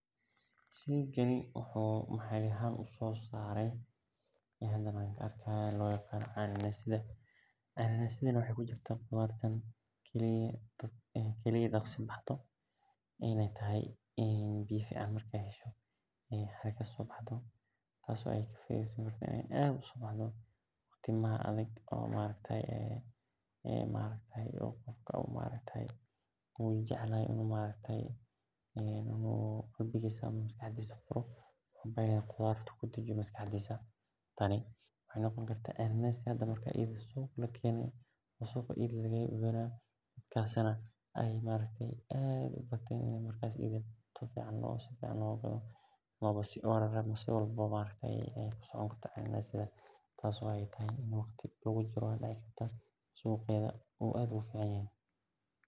Sheygani waxee usosara waxa waye cananasi canasiga waxee ku kurtaa qudharta marka dici karto in maskaxdisa furtu tas oo suqyaada aad loga jacel yahay wan aad ayey u macantahay.